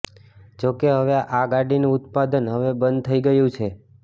જો કે હવે આ ગાડીનું ઉત્પાદન હવે બંધ થઈ ગયું છે